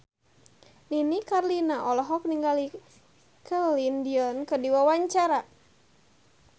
Nini Carlina olohok ningali Celine Dion keur diwawancara